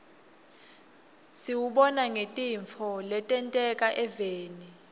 siwubona ngetintfo letenteka eveni